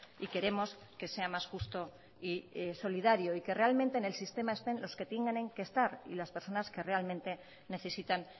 y queremos que sea más justo y solidario y que realmente en el sistema estén los que tienen que estar y las personas que realmente necesitan